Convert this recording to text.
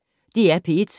DR P1